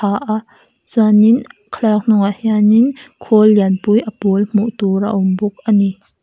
chuan in thlaklak hnungah hian in khawl lianpui a pawl hmuhtur a awm bawk ani.